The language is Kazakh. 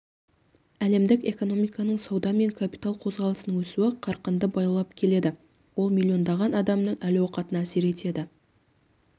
әлемдік экономиканың сауда мен капитал қозғалысының өсу қарқыны баяулап келеді ол миллиондаған адамның әл-ауқатына әсер етеді